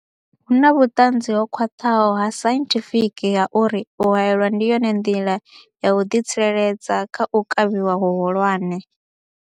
Hu na vhuṱanzi ho khwaṱhaho ha sainthifiki ha uri u haelwa ndi yone nḓila ya u ḓitsireledza kha u kavhiwa hu hulwane.